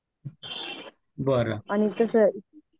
बरं